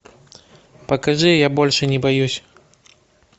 покажи я больше не боюсь